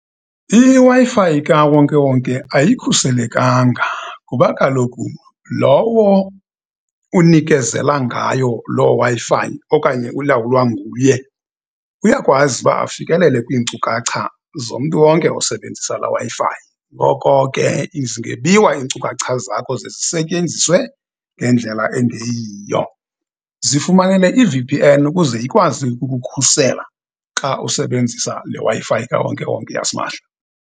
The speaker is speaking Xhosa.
IWi-Fi kawonkewonke ayikhuselekanga, ngoba kaloku lowo unikezela ngayo loo Wi-Fi okanye ulawulwa nguye, uyakwazi uba afikelele kwinkcukacha zomntu wonke osebenzisa la Wi-Fi. Ngoko ke, zingebiwa iinkcukacha zakho ze zisetyenziswe ngendlela engeyiyo. Zifumanele i-V_P_N ukuze ikwazi ukukhusela, xa usebenzisa le Wi-Fi kawonkewonke yasimahla.